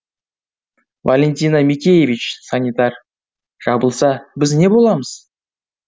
валентина микеевич санитар жабылса біз не боламыз